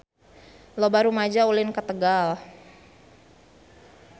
Loba rumaja ulin ka Tegal